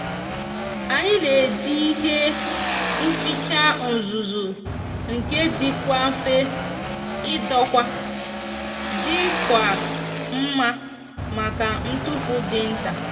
anyi n'eji ihe nkpicha uzuzu nke dikwa nfe idokwa dikwa nma maka ntupu di nta